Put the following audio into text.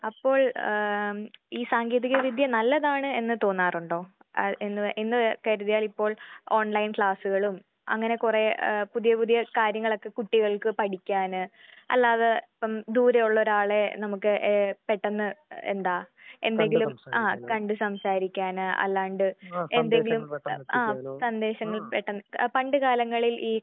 അപ്പോൾ എം ഈ സാങ്കേതിക വിദ്യ നല്ലതാണ് എന്ന് തോന്നാറുണ്ടോ? ആഹ് എന്ന് എന്ന് കരുതിയാൽ ഇപ്പോൾ ഓൺലൈൻ ക്ലാസ്സുകളും അങ്ങനെ കുറേ ഏഹ് പുതിയ പുതിയ കാര്യങ്ങളൊക്കെ കുട്ടികൾക്ക് പഠിക്കാന് അല്ലാതെ ഇപ്പം ദൂരെയുള്ള ഒരാളെ നമുക്ക് ഏഹ് പെട്ടന്ന് എന്താ എന്തെങ്കിലും ആഹ് കണ്ട് സംസാരിക്കാന് അല്ലാണ്ട് ആഹ് എന്തെങ്കിലും ആഹ് സന്ദേശങ്ങൾ എത്തിക്കാന് പണ്ട് കാലങ്ങളിൽ ഈ